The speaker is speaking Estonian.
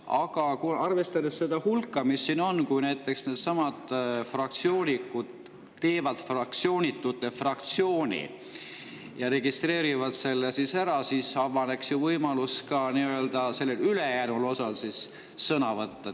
Aga arvestades hulka, mis siin on, kui näiteks needsamad fraktsioonitud teevad fraktsioonitute fraktsiooni ja registreerivad selle ära, siis avaneks ju võimalus ka ülejäänud osal sõna võtta.